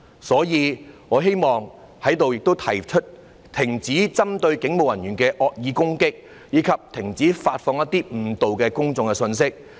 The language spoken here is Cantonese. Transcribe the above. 所以，我希望在這裏提出：停止針對警務人員的惡意攻擊，以及停止發放一些誤導公眾的信息。